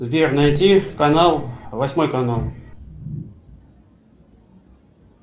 сбер найти канал восьмой канал